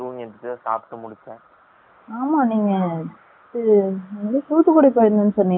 ஆமா. நீங்க தூத்துகுடி போனிங்க நு சொலன்னிங்கல.. எப்டி போனிங்க